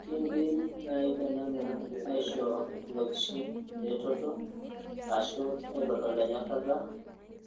Kiindim naaji tenanu aaishoo ilokishin eretoto ashuu aitodol enyorrata,